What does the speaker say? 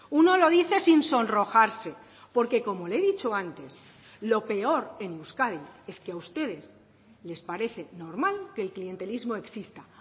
uno lo dice sin sonrojarse porque como le he dicho antes lo peor en euskadi es que a ustedes les parece normal que el clientelismo exista